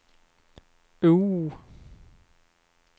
O